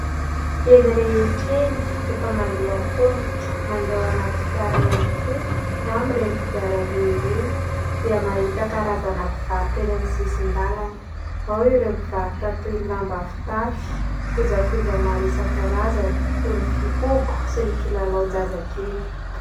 Eny rehetra eny rehefa mandeha an-tongotra, mandeha anaty fiara ihany koa na amin'ireny kodiaran-droa ireny dia mahita karazana mpivarotra eny amin'ny sisin-dalana. Ao ireo mivarotra toy ny lamba fitafy, kojakoja maro isan-karazany toy ny fihogo sy ny kilalaon-jazakely.